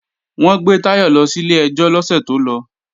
Wọ́n gbé Táyọ̀ lọ sílé ẹjọ́ lọ́sẹ̀ tó lọ